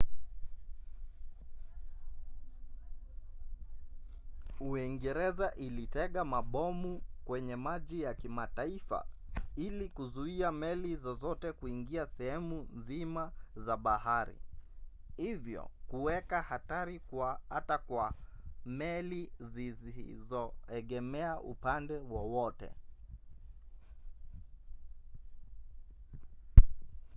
uingereza ilitega mabomu kwenye maji ya kimataifa ili kuzuia meli zozote kuingia sehemu nzima za bahari hivyo kuweka hatari hata kwa meli zisizoegemea upande wowote